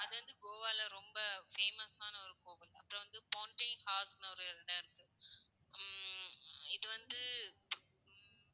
அது வந்து கோவால ரொம்ப famous ஆன ஒரு கோவில். அப்பறம் வந்து ஒரு இடம் இருக்கு. ஹம் இது வந்து,